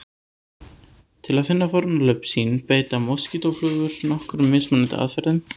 Til að finna fórnarlömb sín beita moskítóflugur nokkrum mismunandi aðferðum.